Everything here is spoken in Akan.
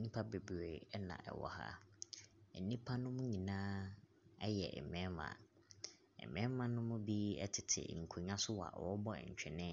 Nnipa bebree ɛna ɛwɔ ha. Nnipa no mu nyinaa ɛyɛ mmarima. Mmarima no mu bi ɛtete nkonwa so a wɔbɔ ntwene.